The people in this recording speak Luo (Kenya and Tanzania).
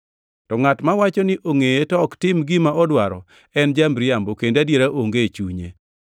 To ngʼat mawacho ni ongʼeye to ok tim gima odwaro en ja-miriambo kendo adiera onge e chunye.